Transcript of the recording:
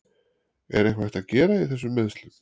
Er eitthvað hægt að gera í þessum meiðslum?